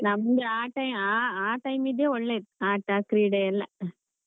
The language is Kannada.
ನಮ್ಗೆ ಆ time ಆ time ಇದ್ದೆ ಒಳ್ಳೆದು ಆಟಾ ಕ್ರೀಡೆಯೆಲ್ಲ.